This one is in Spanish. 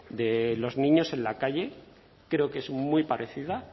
de los niños en la calle creo que es muy parecida